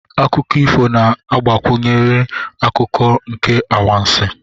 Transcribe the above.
Akụkọ ifo na-agụnyekarị akụkụ nke anwansi.